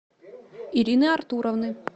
ирины артуровны